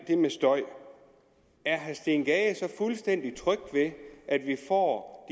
det med støj er herre steen gade så fuldstændig tryg ved at vi får